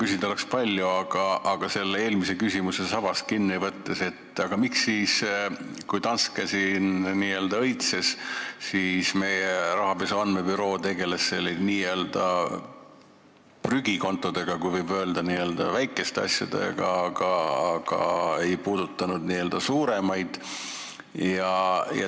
Küsida oleks palju, aga küsin eelmise küsimuse sabast kinni võttes: miks siis, kui Danske siin n-ö õitses, tegeles meie rahapesu andmebüroo prügikontodega, kui nii võib öelda, väikeste asjadega, ega puudutanud suuremaid?